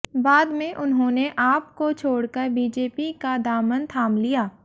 बाद में उन्होंने आप को छोड़कर बीजेपी का दामन थाम लिया